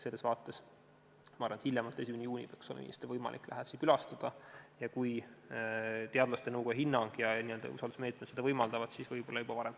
Selles vaates ma arvan, et hiljemalt 1. juunil peaks olema võimalik lähedasi külastada, aga kui teadlaste nõukoja hinnang ja need usaldusmeetmed seda võimaldavad, siis võib-olla juba varem.